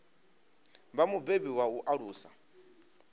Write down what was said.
vha mubebi wa u alusa